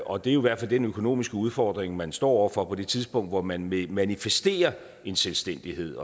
og det er jo i hvert fald den økonomiske udfordring man står over for på det tidspunkt hvor man vil manifestere en selvstændighed